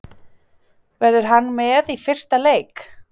Verður hann með í fyrsta leik?